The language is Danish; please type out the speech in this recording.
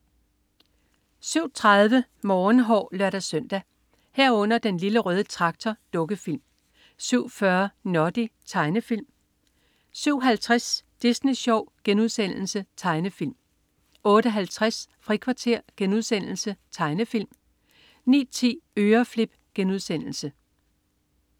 07.30 Morgenhår (lør-søn) 07.30 Den Lille Røde Traktor. Dukkefilm 07.40 Noddy. Tegnefilm 07.50 Disney Sjov.* Tegnefilm 08.50 Frikvarter.* Tegnefilm 09.10 Øreflip*